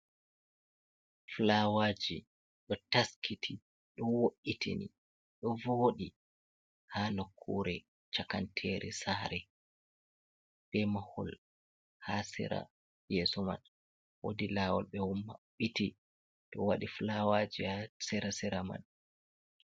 Fulawaji, ɗo taskiti ɗo wo’itini ɗo voɗi ha nokkure cakantere sare, be mahul ha sera yeso man wodi lawol ɓe ommaɓɓiti, to waɗi fulawaji ha sera-sera man.